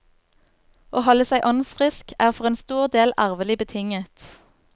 Å holde seg åndsfrisk er for en stor del arvelig betinget.